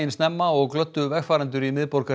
snemma og glöddu vegfarendur í miðborginni